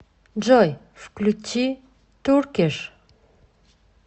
джой включи туркиш